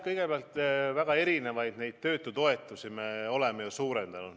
Kõigepealt, me oleme ju väga erinevaid töötutoetusi suurendanud.